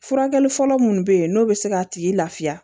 Furakɛli fɔlɔ munnu bɛ ye n'o bɛ se k'a tigi lafiya